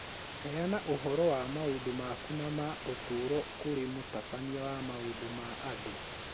Heana ũhoro wa maũndũ maku na ma ũtũũro kũrĩ mũtabania wa maũndũ ma andũ.